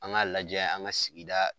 An k'a lajɛ an ka sigida